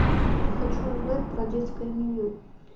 хочу узнать про детское меню